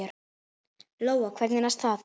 Lóa: Hvernig næst það?